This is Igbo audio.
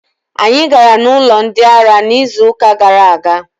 Anyị gara n'ụlọ ndị ara n'izuuka gara aga.